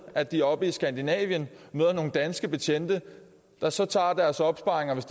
at de oppe i skandinavien møder nogle danske betjente der så tager deres opsparing hvis